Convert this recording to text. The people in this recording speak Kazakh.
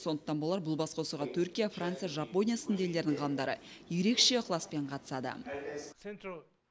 сондықтан болар бұл басқосуға түркия франция жапония сынды елдердің ғалымдары ерекше ықыласпен қатысады